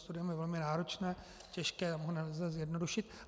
Studium je velmi náročné, těžké, nelze ho zjednodušit.